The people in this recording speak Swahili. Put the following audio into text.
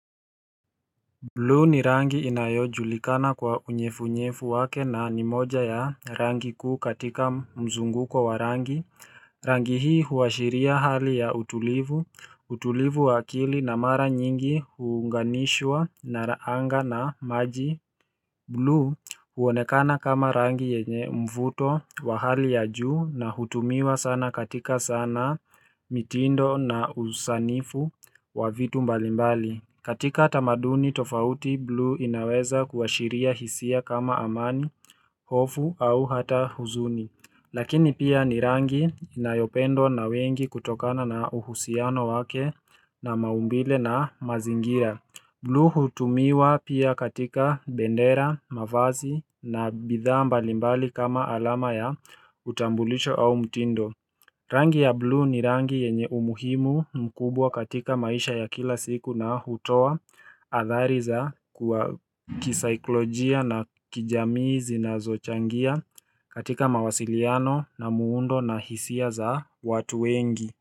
Blu ni rangi inayojulikana kwa unyevunyevu wake na ni moja ya rangi kuu katika mzunguko wa rangi Rangi hii huashiria hali ya utulivu, utulivu wa akili na mara nyingi huunganishwa na anga na maji blu huonekana kama rangi yenye mvuto wa hali ya juu na hutumiwa sana katika sanaa mitindo na usanifu wa vitu mbalimbali katika tamaduni tofauti blu inaweza kuashiria hisia kama amani, hofu au hata huzuni Lakini pia ni rangi inayopendwa na wengi kutokana na uhusiano wake na maumbile na mazingira blu hutumiwa pia katika bendera, mavazi na bidhaa mbalimbali kama alama ya utambulisho au mtindo Rangi ya blu ni rangi yenye umuhimu mkubwa katika maisha ya kila siku na hutoa athari za kwa kisaikolojia na kijamii zinazochangia katika mawasiliano na muundo na hisia za watu wengi.